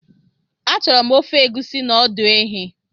Achọrọ m ofe Egusi na ọdụ ehi